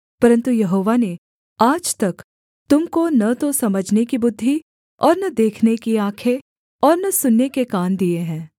परन्तु यहोवा ने आज तक तुम को न तो समझने की बुद्धि और न देखने की आँखें और न सुनने के कान दिए हैं